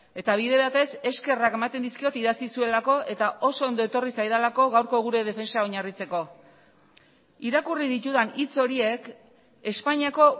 eta bide batez eskerrak ematen dizkiot idatzi zuelako eta oso ondo etorri zaidalako gaurko gure defentsa oinarritzeko irakurri ditudan hitz horiek espainiako